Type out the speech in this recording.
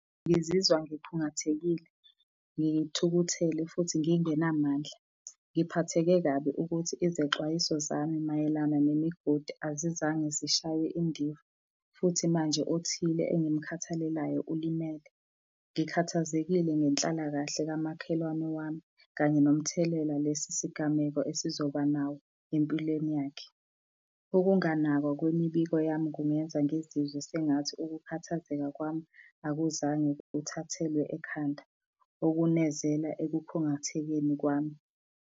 Ngizizwa ngikhungathekile, ngithukuthele futhi ngingenamandla. Ngiphatheke kabi ukuthi izexwayiso zami mayelana nemigodi azizange zishaywe indiva, futhi manje othile engimukhathalelayo ulimele. Ngikhathazekile ngenhlalakahle kamakhelwane wami, kanye nomthelela lesi sigameko esizoba nawo empilweni yakhe. Ukunganakwa kwemibiko yami kungenza ngizizwe sengathi ukukhathazeka kwami akuzange kuthathelwe ekhanda, okunezela ekukhungathekeni kwami.